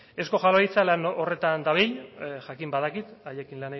euzko jaurlaritza lan horretan dabil jakin badakit haiekin